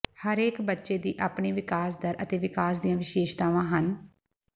ਹਰੇਕ ਬੱਚੇ ਦੀ ਆਪਣੀ ਵਿਕਾਸ ਦਰ ਅਤੇ ਵਿਕਾਸ ਦੀਆਂ ਵਿਸ਼ੇਸ਼ਤਾਵਾਂ ਹਨ